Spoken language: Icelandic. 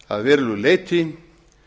að verulegu leyti